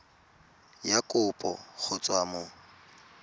ya kopo go tswa mo